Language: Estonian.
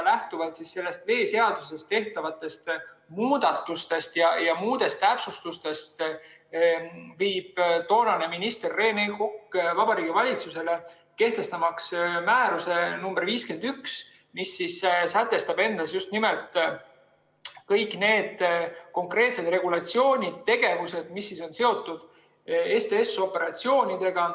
Lähtuvalt veeseaduses tehtud muudatustest ja muudest täpsustustest viis toonane minister Rene Kokk Vabariigi Valitsusele kehtestamiseks määruse nr 51, mis sätestas just nimelt kõik need konkreetsed regulatsioonid, tegevused, mis olid seotud STS‑operatsioonidega.